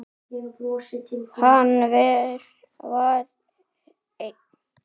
Hann var einn.